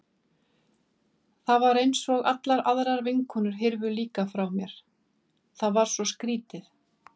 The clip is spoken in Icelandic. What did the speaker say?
Þá var eins og allar aðrar vinkonur hyrfu líka frá mér, það var svo skrýtið.